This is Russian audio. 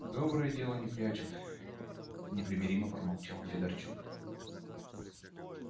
доброе дело не прячут непримиримо проворчал федорчук